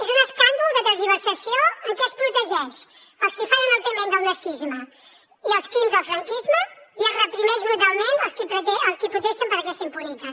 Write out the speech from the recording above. és un escàndol de tergiversació en què es protegeix els qui fan enaltiment del nazisme i els crims del franquisme i es reprimeix brutalment els qui protesten per aquesta impunitat